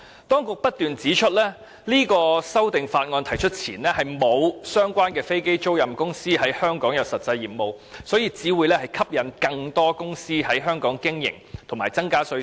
當局不斷指出，在提出這項《條例草案》前，並沒有相關的飛機租賃公司在香港擁有實際業務，故《條例草案》如落實推行，會吸引更多公司在香港經營，以及增加稅收。